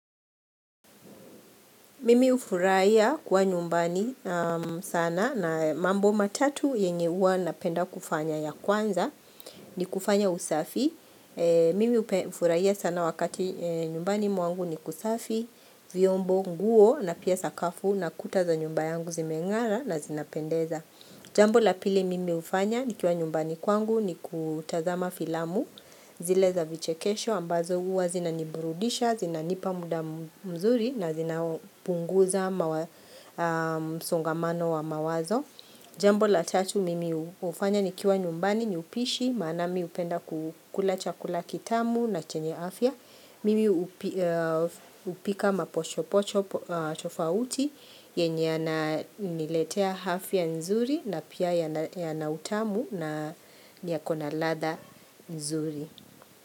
Mimi ufuraiya kwa nyumbani sana na mambo matatu yenge huwa napenda kufanya ya kwanza ni kufanya usafi. Mimi hufurahia sana wakati nyumbani mwangu ni kusafi, viyombo, nguo na pia sakafu na kuta za nyumba yangu zimengara na zinapendeza. Jambo la pili mimi hufanya nikiwa nyumbani kwangu ni kutazama filamu zile za vichekesho ambazo huwa zinanibrudisha, zinanipa muda mzuri na zinapunguza msongamano wa mawazo Jambo la tatu mimi hufanya nikiwa nyumbani ni upishi maana mimi hupenda kukula chakula kitamu na chenye afya Mimi hupika mapochopocho tofauti yenye yananiletea afya nzuri na pia yana utamu na yako na lada nzuri.